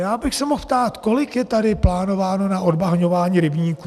Já bych se mohl ptát, kolik je tady plánováno na odbahňování rybníků.